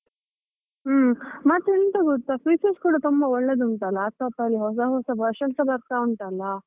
ಉಮ್ ಮತ್ತೆ ಎಂತ ಗೊತ್ತಾ features ಕೂಡ ತುಂಬಾ ಒಳ್ಳೆದುಂಟಲ laptop ಅಲ್ಲಿ ಹೊಸ ಹೊಸ versions ಬರ್ತಾ ಉಂಟಲ್ಲ.